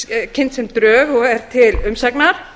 kynnt sem drög og er til umsagnar